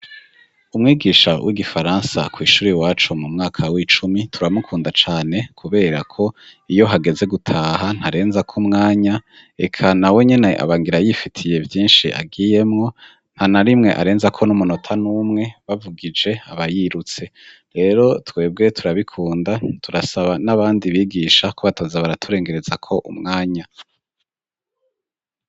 Umwigisha w'igifaransa kw'ishure iwacu mu mwaka w'icumi turamukunda cane kuberako iyo hageze gutaha ntarenzako mwanya, eka nawe nyene aba ngira yifitiye vyinshi agiyemwo, ntanarimwe arenzako n'umunota numwe, bavugije aba yirutse. Rero twebwe turabikunda, turasaba n'abandi bigisha ko bataza baraturengerezako umwanya.